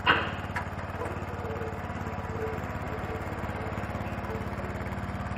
можешь показать кинематографическую ленту в духе эпичного фэнтези